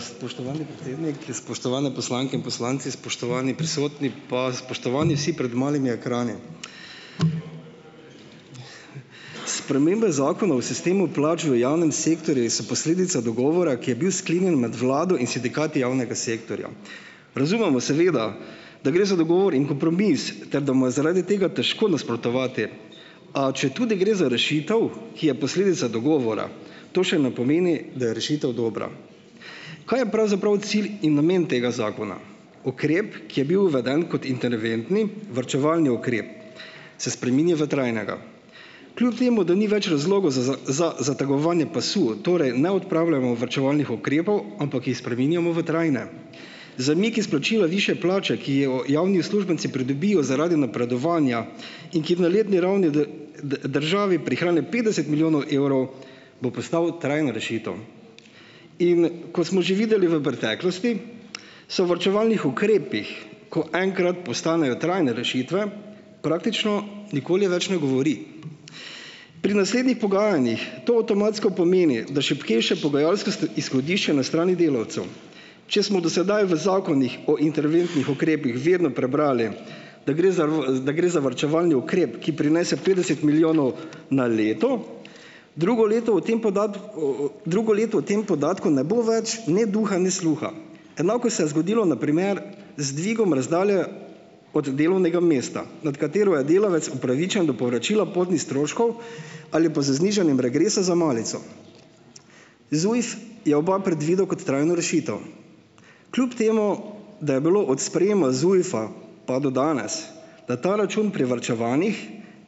Spoštovani predsednik, spoštovane poslanke in poslanci, spoštovani prisotni pa spoštovani vsi pred malimi ekrani! Spremembe zakona v sistemu plač v javnem sektorju so posledica dogovora, ki je bil sklenjen med vlado in sindikati javnega sektorja. Razumemo seveda, da gre za dogovor in kompromis ter da mu je zaradi tega težko nasprotovati. A četudi gre za rešitev, ki je posledica dogovora, to še ne pomeni, da je rešitev dobra. Kaj je pravzaprav cilj in namen tega zakona? Ukrep, ki je bil uveden kot internventni varčevalni ukrep se spremeni v trajnega. Kljub temu da ni več razlogov za za, za zategovanje pasu, torej ne odpravljamo varčevalnih ukrepov, ampak jih spreminjamo v trajne. Zamik izplačila višje plače, ki jo javni uslužbenci pridobijo zaradi napredovanja in kjer na letni ravni državi prihrani petdeset milijonov evrov bo postal trajna rešitev. In kot smo že videli v preteklosti, se o varčevalnih ukrepih, ko enkrat postanejo trajne rešitve, praktično nikoli več ne govori. Pri naslednjih pogajanjih to avtomatsko pomeni, da šibkejše pogajalske izhodišča na strani delavcev. Če smo do sedaj v zakonih o interventnih ukrepih vedno prebrali, da gre za v, da gre za varčevalni ukrep, ki prinese petdeset milijonov na leto, drugo leto o tem o, o, drugo leto o tem podatku ne bo več ne duha ne sluha. Enako se je zgodilo na primer z dvigom razdalje od delovnega mesta, nad katero je delavec upravičen do povračila potnih stroškov ali pa z znižanjem regresa za malico. ZUJF je oba predvidel kot trajno rešitev. Kljub temu da je bilo ot sprejema ZUJF-a pa do danes na ta račun privarčevanih